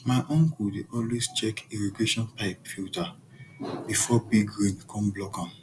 my uncle dey always check irrigation pipe filter before big rain come block am